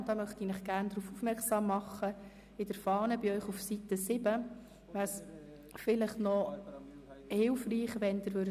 Es wäre hilfreich, wenn Sie auf Seite 7 der Fahne die Kommissionsminderheit spezifizieren würden.